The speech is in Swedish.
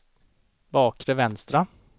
bakre vänstra